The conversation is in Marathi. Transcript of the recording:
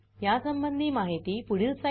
यासंबंधी माहिती पुढील साईटवर उपलब्ध आहे